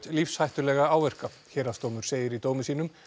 lífshættulega áverka héraðsdómur segir í dómi sínum